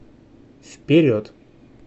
вперед